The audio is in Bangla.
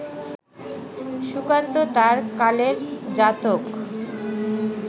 সুকান্ত তাঁর কালের জাতক